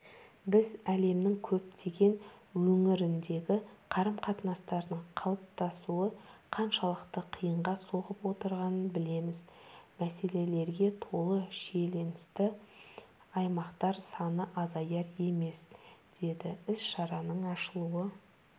біз әлемнің көптеген өңіріндегі қарым-қатынастардың қалыптасуы қаншалықты қиынға соғып отырғанын білеміз мәселелерге толы шиеленісті аймақтар саны азаяр емес деді іс-шараның ашылу